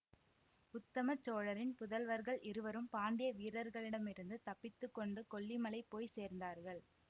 உத்தம சோழரின் புதல்வர்கள் இருவரும் பாண்டிய வீரர்களிடமிருந்து தப்பித்து கொண்டு கொல்லிமலை போய் சேர்ந்தார்கள்